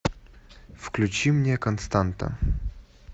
включи мне константа